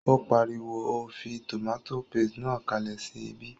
Ó pariwo, o fí tòmátò paste náà kalẹ̀ sí ibí!